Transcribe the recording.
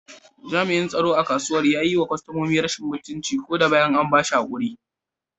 Jami’an tsaro a kasuwar ya yi wa kwastomomi rashin mutunci ko da bayan an ba shi hakuri.